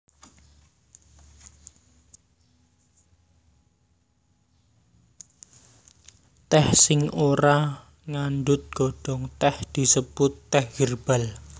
Tèh sing ora ngandhut godhong tèh disebut tèh hèrbal